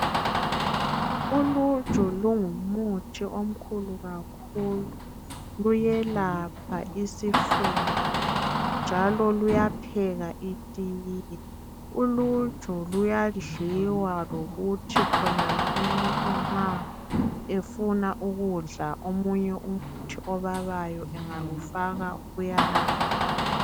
Uluju lungumuthi omkhulu kakhulu, luyelapha isifuba, njalo luyapheka itiye. Uluju luyadliwa lokuthi khonani umuntu nxa efuna ukudla omunye umuthi obabayo engalufaka kuyana.